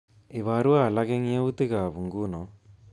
Iborwo alak eng yautik ab nguno